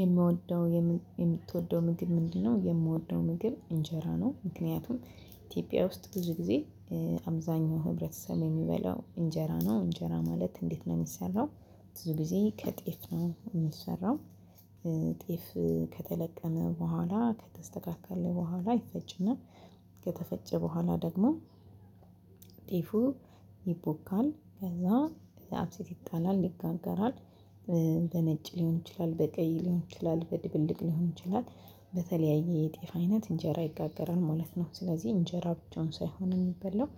የምትወደው ምግብ ምንድነው? የምወደው ምግብ እንጀራ ነው ምክንያቱም። ኢትዮጵያ ውስጥ ብዙ ጊዜ። አብዛኛው ህብረተሰብ የሚበላው እንጀራ ነው እንጀራ ማለት እንዴት ነው የሚሰራው። ብዙ ጊዜ ከጤፍ ነው የሚሰራው። ጤፍ ከተለቀመ በኋላ ከተስተካከለ በኋላ ይፈጭና። ከተፈጨ በኋላ ደግሞ። ጤፉ ይቦካል ከዛ አብሴት ይጣላል ይጋገራል። በነጭ ሊሆን ይችላል በቀይ ሊሆን ይችላል በድብልቅ ሊሆን ይችላል። በተለያየ የጤፍ አይነት እንጀራ ይጋገራል ማለት ነው። ስለዚህ እንጀራ ብቻውን ሳይሆን የሚበላው።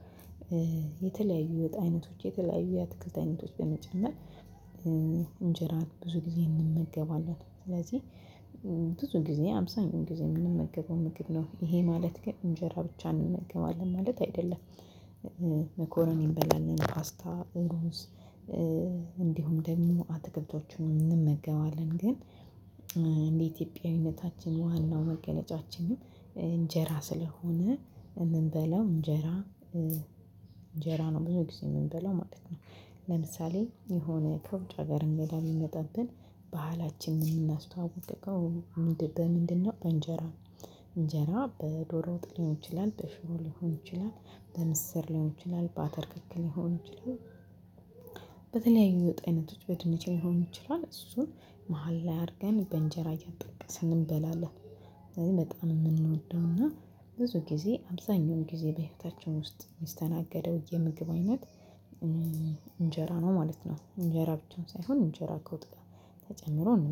የተለያዩ የወጥ አይነቶች የተለያዩ የአትክልት አይነቶች በመጨረሻ እንጀራ ብዙ ጊዜ እንመገባለን። ስለዚህ ብዙ ጊዜ አብዛኛውን ጊዜ የምንመገበው ምግብ ነው ይሄ ማለት ግን እንጀራ ብቻ እንመገባለን ማለት አይደለም። መኮረኒ እንበላልን ፓስታ እሩንስ። እንዲሁም ደግሞ አትክልትን እንመገባለን። ግን እንደ ኢትዮጵያዊነታችን ዋናው መገለጫችንን እንጀራ ስለሆነ የምንበለው እንጀራ። እንጀራ ነው ብዙ ጊዜ የምንበለው ማለት ነው። ለምሳሌ የሆነ ከውጭ ሀገር እንግዳ ቢሚመጣብን ባህላችንን የምናስተዋውቀው ምንድነው? በእንጀራ። እንጀራ በዶሮ ወጥ ሊሆን ይችላል በሽሮ ሊሆን ይችላል በምስር ሊሆን ይችላል በአተር ክክ ሊሆን ይችላል። በተለያዩ የወጥ አይነቶች በድንች ሊሆን ይችላል እሱን መሃል ላይ አድርገን በእንጀራ እያጠቀስን እንበላለን። ስለዚህ በጣም የምንወደው እና ብዙ ጊዜ አብዛኛውን ጊዜ በህይወታችን ውስጥ የሚስተናገደው የምግብ አይነት። እንጀራ ነው ማለት ነው። እንጀራ ብቻውን ሳይሆን እንጀራ ከወጥ ጋር ተጨምሮ ነው